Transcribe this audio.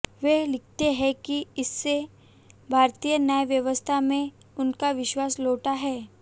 वे लिखते हैं कि इससे भारतीय न्याय व्यवस्था में उनका विश्वास लौटा है